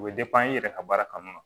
U bɛ i yɛrɛ ka baara kanu